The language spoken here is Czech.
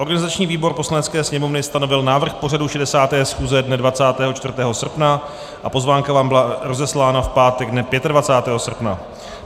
Organizační výbor Poslanecké sněmovny stanovil návrh pořadu 60. schůze dne 24. srpna a pozvánka vám byla rozeslána v pátek dne 25. srpna.